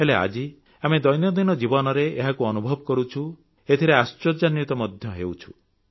ହେଲେ ଆଜି ଆମେ ଦୈନନ୍ଦିନ ଜୀବନରେ ଏହାକୁ ଅନୁଭବ କରୁଛୁ ଏଥିରେ ଆଶ୍ଚର୍ଯ୍ୟାନ୍ୱିତ ମଧ୍ୟ ହେଉଛୁ